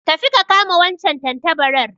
Tafi ka kama wancan tantabarar